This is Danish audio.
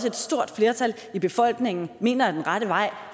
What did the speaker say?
et stort flertal i befolkningen mener er den rette vej